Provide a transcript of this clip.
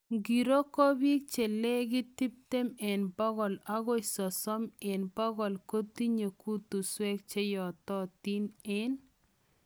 Ngiroo ko piik chelegit tiptem eng pokol agoi sosom eng pokol kotinye kutusweek cheyototin eng